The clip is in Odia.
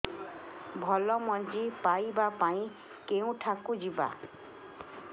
ଭଲ ମଞ୍ଜି ପାଇବା ପାଇଁ କେଉଁଠାକୁ ଯିବା